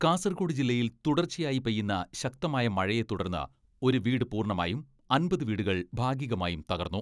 കാസർഗോഡ് ജില്ലയിൽ തുടർച്ചയായി പെയ്യുന്ന ശക്തമായ മഴയെ തുടർന്ന് ഒരു വീട് പൂർണ്ണമായും അമ്പത് വീടുകൾ ഭാഗികമായും തകർന്നു.